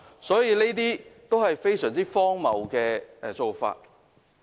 這些都是非常荒謬的做法。